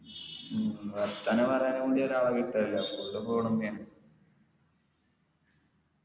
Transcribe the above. ഉം വർത്താനം പറയാൻ വേണ്ടി ഒരാളിട്ടല്ല full phone മ്മെ ആണ്